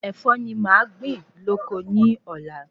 Ẹ̀fọ́ ni màá gbin lóko ni Ọ̀la